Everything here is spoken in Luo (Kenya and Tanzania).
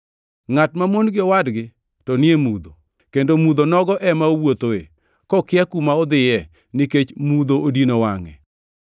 Ngʼat mamon gi owadgi to ni e mudho, kendo mudho nogo ema owuothoe, kokia kuma odhiye, nikech mudho odino wangʼe.